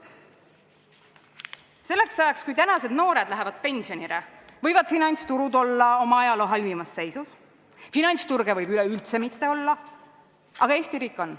Selleks ajaks, kui tänased noored lähevad pensionile, võivad finantsturud olla oma ajaloo halvimas seisus, finantsturge võib üleüldse mitte olla, aga Eesti riik on.